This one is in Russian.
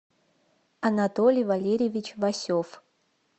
анатолий валерьевич васев